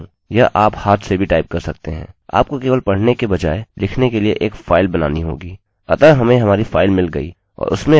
यह आप हाथ से भी टाइप कर सकते हैं आपको केवल पढ़ने के बजाय लिखने के लिए एक फाइल बनानी होगी